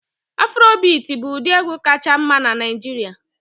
Afrobit bụ ụdị egwu kachasị mma na Naijiria